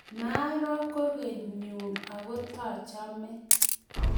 maaro kugoe nyu aku taachame